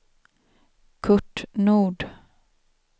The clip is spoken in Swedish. Curt Nord